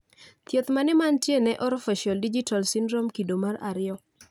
Thieth mane manitie ne Orofaciodigital syndrome kido mar ariyo